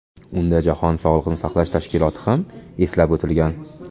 Unda Jahon sog‘liqni saqlash tashkiloti ham eslab o‘tilgan.